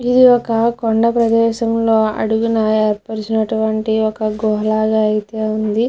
ఇది ఒక కొండ ప్రదేశం లో అడుగున ఏర్పర్చినటువంటి ఒక గృహ లాగా అయితే ఉంది.